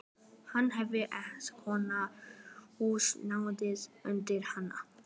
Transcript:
Hann þyrfti að nota húsnæðið undir annað.